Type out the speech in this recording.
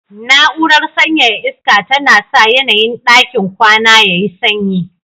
Na'urar sanyaya iska tana sa yanayin ɗakin kwana yayi sanyi